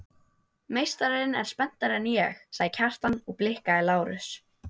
Meistarinn er spenntari en ég, sagði Kjartan og blikkaði Lárus.